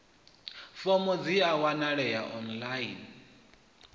fomo a dzi wanalei online